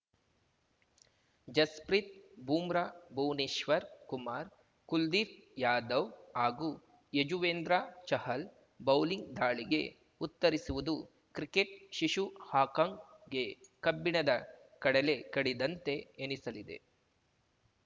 ಜಸ್‌ಪ್ರೀತ್‌ ಬೂಮ್ರಾ ಭುವನೇಶ್ವರ್‌ ಕುಮಾರ್‌ ಕುಲ್ದೀಪ್‌ ಯಾದವ್‌ ಹಾಗೂ ಯಜುವೇಂದ್ರ ಚಹಲ್‌ ಬೌಲಿಂಗ್‌ ದಾಳಿಗೆ ಉತ್ತರಿಸುವುದು ಕ್ರಿಕೆಟ್‌ ಶಿಶು ಹಾಕಾಂಗ್‌ಗೆ ಕಬ್ಬಿಣದ ಕಡಲೆ ಕಡಿದಂತೆ ಎನಿಸಲಿದೆ